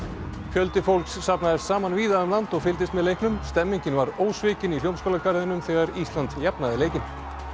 fjöldi fólks safnaðist saman víða um land og fylgdist með leiknum stemningin var ósvikin í Hljómaskálagarðinum þegar Ísland jafnaði leikinn